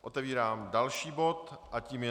Otevírám další bod a tím je